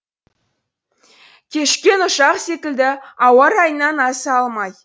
кешіккен ұшақ секілді ауа райынан аса алмай